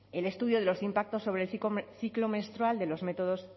el estudio de los impactos sobre el ciclo menstrual de los métodos